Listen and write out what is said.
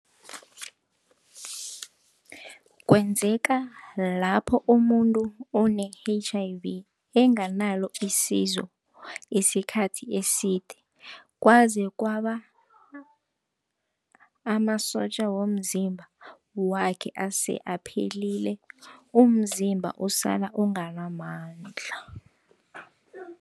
Kwenzeka lapho umuntu one-H_I_V enganalo isizo isikhathi eside kwazi kwaba amasotja womzimba wakhe ase aphelile, umzimba osala unganamandla.